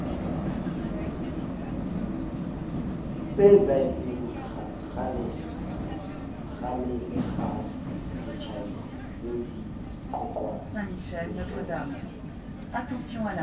tseetsahetseng kgalekgalesetjhabengseo di qoqwang hosona